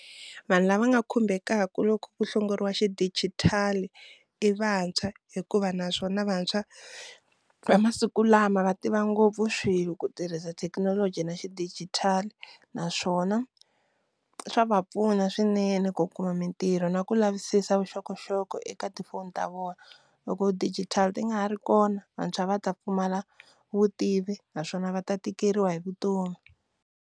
Vanhu lava nga khumbekaku loko ku hlongoriwa xidijitali i vantshwa hikuva naswona vantshwa va masiku lama va tiva ngopfu swilo ku tirhisa thekinoloji na xidijitali, naswona swa va pfuna swinene ku kuma mintirho na ku lavisisa vuxokoxoko eka tifoni ta vona, loko digital ti nga ha ri kona vantshwa va ta pfumala vutivi naswona va ta tikeriwa hi vutomi.